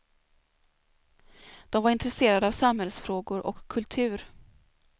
De var intresserade av samhällsfrågor och kultur.